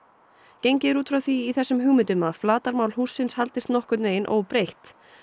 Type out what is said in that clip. gengið er út frá því í þessum hugmyndum að flatarmál hússins haldist nokkurn veginn óbreytt